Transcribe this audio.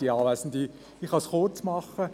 Ich kann es kurz machen.